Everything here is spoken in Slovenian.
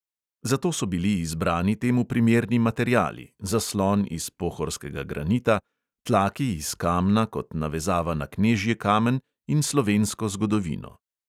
Zato so bili izbrani temu primerni materiali, zaslon iz pohorskega granita, tlaki iz kamna kot navezava na knežji kamen in slovensko zgodovino.